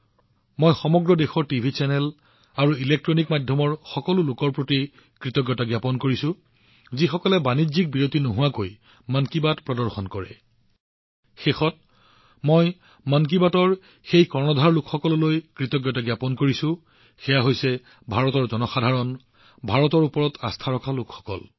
মই সকলো TV channel সমগ্ৰ দেশৰ ইলেক্ট্ৰনিক মাধ্যমৰ লোকসকলৰ প্ৰতি কৃতজ্ঞতা জ্ঞাপন কৰিছো যিসকলে বাণিজ্যিক বিৰতি অবিহনে মন কী বাত প্ৰদৰ্শন কৰে আৰু শেষত মই তেওঁলোকলৈও কৃতজ্ঞতা জ্ঞাপন কৰিম যিসকলে মন কী বাতৰ আৱৰণ প্ৰস্তুত কৰে ভাৰতৰ জনসাধাৰণ ভাৰতৰ ওপৰত বিশ্বাস থকা লোকসকলৰ প্ৰতি